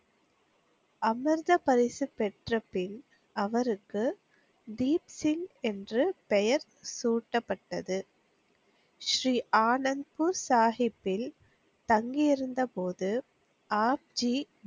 அமிர்த பரிசு பெற்றபின் அவருக்கு தீப்சிங் என்ற பெயர் சூட்டப்பட்டது. ஸ்ரீ ஆனந்த்பூர் சாகிப்பில் தங்கியிருந்த போது ஆப்ஜி,